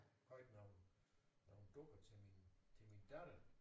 Købt nogle nogle dukker til min til min datter